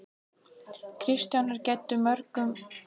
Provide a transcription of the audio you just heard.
Kristján er gæddur mörgum góðum kostum.